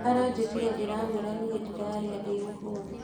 Aranjĩtire ndĩramwĩra niĩ ndirarĩa ndĩmũhũnu